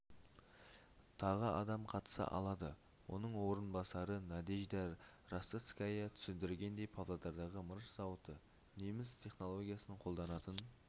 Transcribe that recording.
тағы адам қатыса алады оның орынбасары надежда ростоцская түсіндіргендей павлодардағы мырыш зауыты неміс технологиясын қолданатын